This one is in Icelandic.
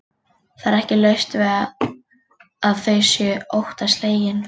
Það er ekki laust við að þau séu óttaslegin.